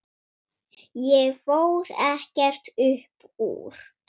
Ég fór ekkert upp úr.